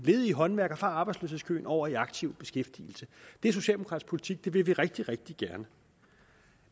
ledige håndværkere fra arbejdsløshedskøen over i aktiv beskæftigelse det er socialdemokratisk politik og det vil vi rigtig rigtig gerne